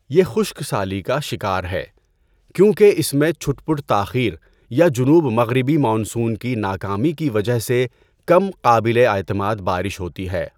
یہ خشک سالی کا شکار ہے، کیونکہ اس میں چھٹپٹ تاخیر یا جنوب مغربی مانسون کی ناکامی کی وجہ سے کم قابل اعتماد بارش ہوتی ہے۔